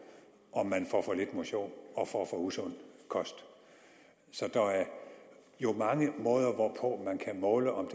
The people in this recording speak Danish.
om man får for lidt motion og får for usund kost så der er jo mange måder hvorpå man kan måle om